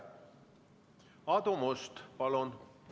Aadu Must, palun!